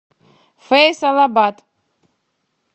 фейсалабад